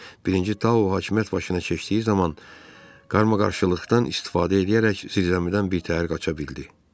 Birinci Taun hakimiyyət başına keçdiyi zaman qaramaqarışıqlıqdan istifadə eləyərək zindandan bir təhər qaça bildi.